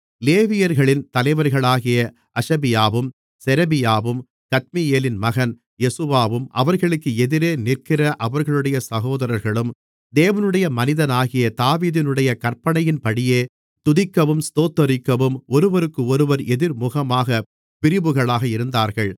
லேவியர்களின் தலைவர்களாகிய அஷபியாவும் செரெபியாவும் கத்மியேலின் மகன் யெசுவாவும் அவர்களுக்கு எதிரே நிற்கிற அவர்களுடைய சகோதரர்களும் தேவனுடைய மனிதனாகிய தாவீதினுடைய கற்பனையின்படியே துதிக்கவும் ஸ்தோத்திரிக்கவும் ஒருவருக்கொருவர் எதிர்முகமாக பிரிவுகளாக இருந்தார்கள்